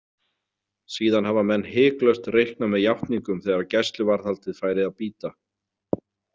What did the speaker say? Síðan hafa menn hiklaust reiknað með játningum þegar gæsluvarðhaldið færi að bíta.